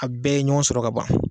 A bɛɛ ye ɲɔgɔn sɔrɔ ka ban